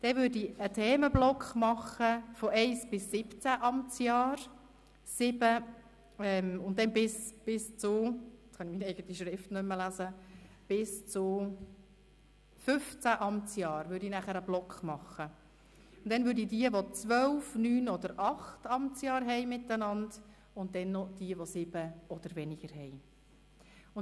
Anschliessend folgt ein Themenblock von 1 bis 17 Amtsjahren, beginnend mit einem Block bis 15 Amtsjahre, dann folgen diejenigen Mitglieder mit 12, 9 oder 8 Amtsjahren, und zuletzt diejenigen mit 7 oder weniger Amtsjahren.